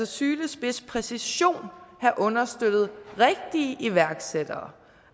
sylespids præcision have understøttet rigtige iværksættere